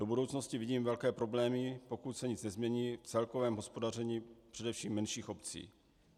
Do budoucnosti vidím velké problémy, pokud se nic nezmění v celkovém hospodaření především menších obcí.